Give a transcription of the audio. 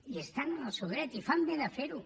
i estan en el seu dret i fan bé de fer ho